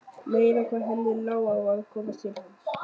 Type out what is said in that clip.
Meira hvað henni lá á að komast til hans!